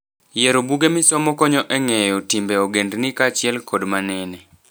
Yiero buge misomo konyo e ng'eyo timbe ogendni kaachiel to kod manene.